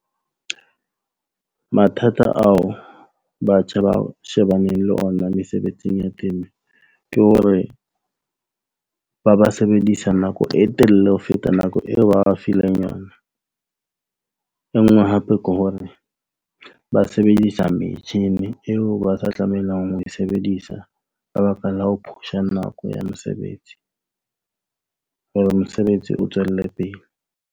Mathata ao batjha ba shebaneng le ona mesebetsing ya temo ke hore ba ba sebedisa nako e telele ho feta nako eo ba fileng yona. E nngwe hape ke hore ba sebedisa metjhini eo ba sa tlamehang ho e sebedisa ka baka la ho push-a nako ya mosebetsi. Hore mosebetsi o tswelle pele.